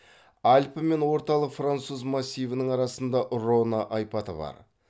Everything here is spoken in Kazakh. альпі мен орталық француз массивінің арасында рона айпаты бар